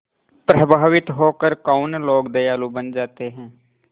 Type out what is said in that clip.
प्रभावित होकर कौन लोग दयालु बन जाते हैं